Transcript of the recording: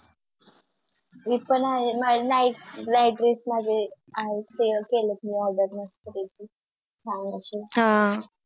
मी पण आहे Night dress माझे आहेत ते केले Order मस्त पैकी छान असे हम्म